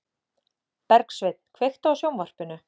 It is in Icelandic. Bergsveinn, kveiktu á sjónvarpinu.